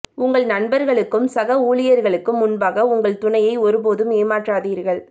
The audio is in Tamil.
உங்கள் நண்பர்களுக்கும் சக ஊழியர்களுக்கும் முன்பாக உங்கள் துணையை ஒருபோதும் ஏமாற்றாதீர்கள்